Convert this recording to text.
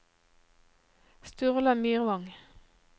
Sturla Myrvang